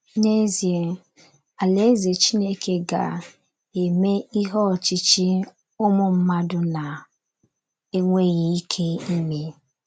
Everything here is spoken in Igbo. N’ezie, Alaeze Chineke ga - eme ihe ọchịchị ụmụ mmadụ na - enweghị ike ime.